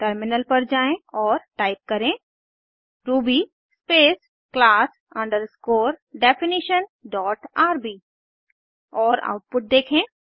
terminal पर जाएँ और टाइप करें Ruby space class underscore definition dot RB और आउटपुट देखें